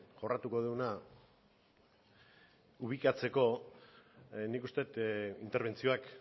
jorratuko duguna ubikatzeko nik uste dut interbentzioak